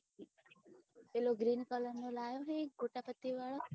પીલો green colour નો લાયો હે ને કોટા પતિ વાળો